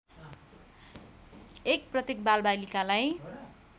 १ प्रत्येक बालबालिकालाई